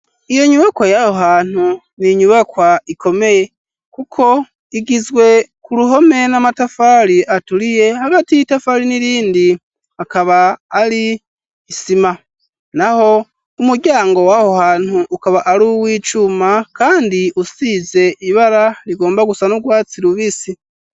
Iyo nyubako yaho hantu n'inyubakwa ikomeye kuko igizwe ku ruhome n'amatafari aturiye hagati y'itafari n'irindi akaba ari isima naho umuryango waho hantu ukaba ari w'icuma kandi usize ibara rigomba gusa n'urwatsi rubisi